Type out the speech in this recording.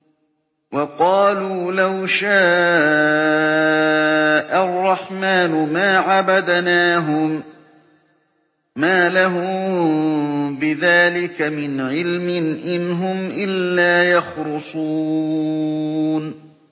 وَقَالُوا لَوْ شَاءَ الرَّحْمَٰنُ مَا عَبَدْنَاهُم ۗ مَّا لَهُم بِذَٰلِكَ مِنْ عِلْمٍ ۖ إِنْ هُمْ إِلَّا يَخْرُصُونَ